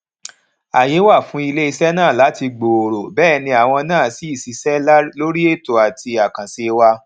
ààyè wà fún iléesé náà láti gbòòrò béè ni àwa náà sì ṣiṣẹ lórí ètò àti àkànṣe wa